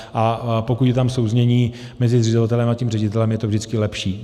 A pokud je tam souznění mezi zřizovatelem a tím ředitelem, je to vždycky lepší.